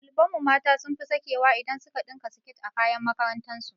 Ɗaliban mu mata sun fi sakewa idan su ka ɗinka siket a kayan makarantar su